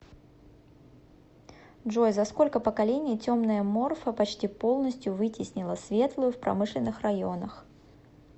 джой за сколько поколений темная морфа почти полностью вытеснила светлую в промышленных районах